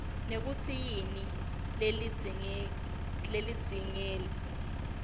nekutsi yini lelindzeleke